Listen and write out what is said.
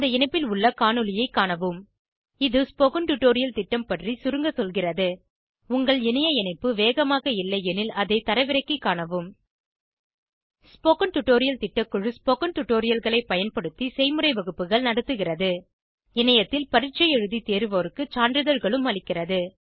இந்த இணைப்பில் உள்ள காணொளியைக் காணவும் இது ஸ்போகன் டுடோரியல் திட்டம் பற்றி சுருங்க சொல்கிறது உங்கள் இணைய இணைப்பு வேகமாக இல்லையெனில் அதை தரவிறக்கிக் காணவும் ஸ்போகன் டுடோரியல் திட்டக்குழு ஸ்போகன் டுடோரியல்களைப் பயன்படுத்தி செய்முறை வகுப்புகள் நடத்துகிறது இணையத்தில் பரீட்சை எழுதி தேர்வோருக்கு சான்றிதழ்களும் அளிக்கிறது